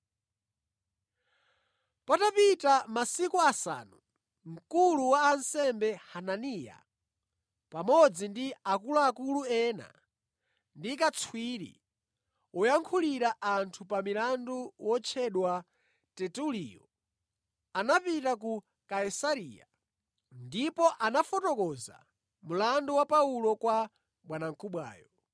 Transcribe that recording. Patapita masiku asanu mkulu wa ansembe Hananiya, pamodzi ndi akuluakulu ena ndi katswiri woyankhulira anthu pa milandu wotchedwa Tertuliyo anapita ku Kaisareya ndipo anafotokoza mlandu wa Paulo kwa Bwanamkubwayo.